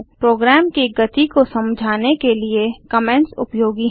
programme की गति को समझाने के लिए कमेंट्स उपयोगी हैं